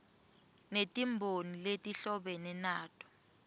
netimboni letihlobene nato